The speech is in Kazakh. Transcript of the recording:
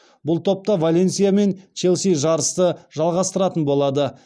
бұл топта валенсия мен челси жарысты жалғастыратын болады